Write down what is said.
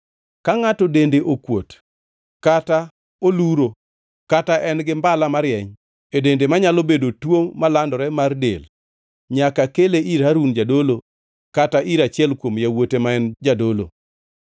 Ka ngʼato dende okuot kata oluro kata en-gi mbala marieny e dende manyalo bedo tuo malandore mar del, nyaka kele ir Harun jadolo kata ir achiel kuom yawuote ma en jadolo.